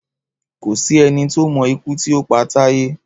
Kò sí eni tó mo ikú tí o pa Táyé